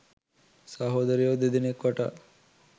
සහෝදරයෝ දෙදෙනෙක් වටා.